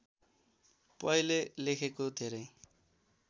पहिले लेखेको धेरै